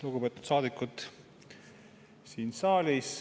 Lugupeetud saadikud siin saalis!